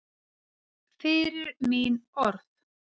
Fyrir mín orð.